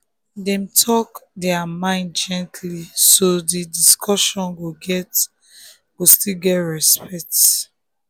dem talk their mind gently so di discussion go still get respect.